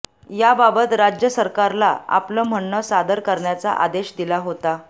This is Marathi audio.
याबाबत राज्य सरकारला आपलं म्हणणं सादर करण्याचा आदेश दिला होता